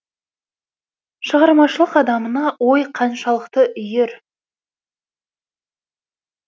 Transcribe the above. шығармашылық адамына ой қаншалықты үйір